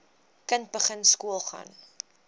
kind begin skoolgaan